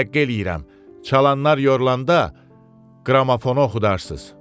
Təvəqqe eləyirəm, çalanlar yorulanda qramafonu oxudarsız.